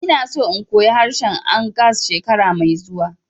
Ina so in koya harshen Angas shekara mai zuwa